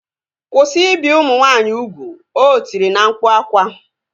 Kwụsị ibi ụmụ nwaanyị ugwu! O tiri na mkpu akwa